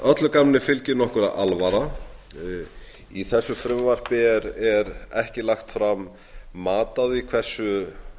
öllu gamni fylgir nokkur alvara í þessu frumvarpi er ekki lagt fram mat á því hversu